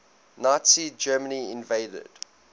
nazi germany invaded